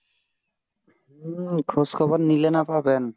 হম খোঁজ খবর নিলে না পাবেন